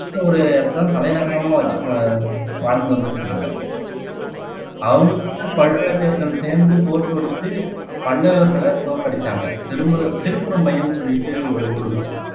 சின்ன ஒரு இடத்தை தான் தலைநகரமாக வச்சு வாழ்ந்து வந்துட்டு இருந்தாங்க அவங்க பழுவேட்டையர்கள் சேர்ந்து போர் தொடுத்து பல்லவர்களை தோற்கடிச்சாங்க திருப்புறபயம்னு சொல்லிட்டு ஒரு ஊர் இருக்கும்